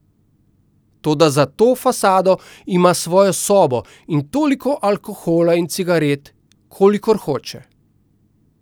Toda za to fasado ima svojo sobo in toliko alkohola in cigaret, kolikor hoče.